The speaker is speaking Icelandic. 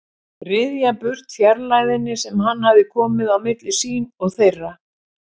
Ryðja burt fjarlægðinni sem hann hafði komið á milli sín og þeirra.